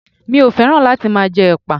Mi ò fẹ́ràn láti máa jẹ ẹpa.